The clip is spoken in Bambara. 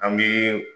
An bɛ